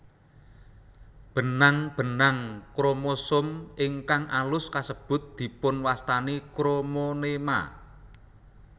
Benang benang kromosom ingkang alus kasebut dipunwastani kromonema